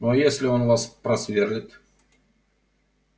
ну а если он вас просверлит